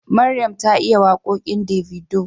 Maryam ta iya waƙoƙin Davido